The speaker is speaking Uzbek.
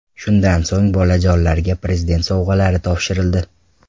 Shundan so‘ng bolajonlarga Prezident sovg‘alari topshirildi.